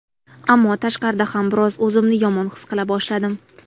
Ammo tashqarida ham biroz o‘zimni yomon his qila boshladim.